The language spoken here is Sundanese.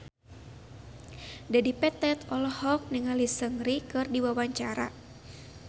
Dedi Petet olohok ningali Seungri keur diwawancara